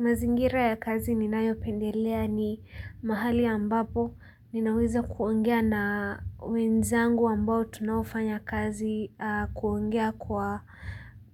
Mazingira ya kazi ninayopendelea ni mahali ambapo ninaweza kuongea na wenzangu ambao tunaofanya kazi kuongea kwa